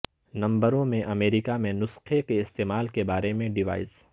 نمبروں میں امریکہ میں نسخے کے استعمال کے بارے میں ڈیوائس